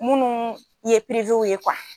Munnu ye ye